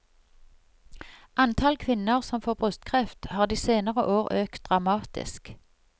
Antall kvinner som får brystkreft, har de senere år økt dramatisk.